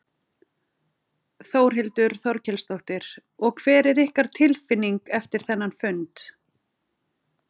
Þórhildur Þorkelsdóttir: Og hver er ykkar tilfinning eftir þennan fund?